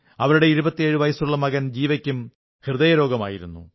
അവരുടെ 27 വയസ്സുള്ള മകൻ ജീവയ്ക്കും ഹൃദയരോഗമായിരുന്നു